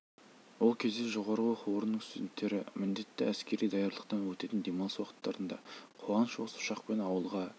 ол кезде жоғары оқу орнының студенттері міндетті әскери даярлықтан өтетін демалыс уақыттарында қуаныш осы ұшақпен ауылға